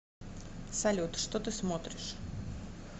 салют что ты смотришь